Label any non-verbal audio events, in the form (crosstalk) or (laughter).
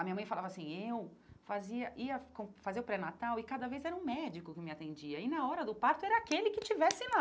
A minha mãe falava assim, eu fazia ia (unintelligible) fazer o pré-natal e cada vez era um médico que me atendia e na hora do parto era aquele que estivesse lá.